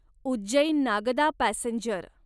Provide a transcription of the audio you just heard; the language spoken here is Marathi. उज्जैन नागदा पॅसेंजर